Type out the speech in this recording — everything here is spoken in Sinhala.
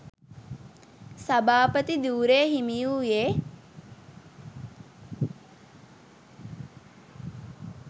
සභාපති ධුරය හිමි වූයේ